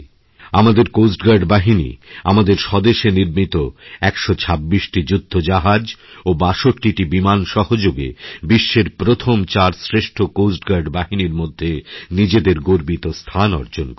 আমাদের coast guard বাহিনী আমাদের স্বদেশে নির্মিত১২৬টি যুদ্ধজাহাজ ও ৬২ টি বিমান সহযোগে বিশ্বের প্রথম চার শ্রেষ্ঠ কোস্ট গার্ডবাহিনীর মধ্যে নিজেদের গর্বিত স্থান অর্জন করেছে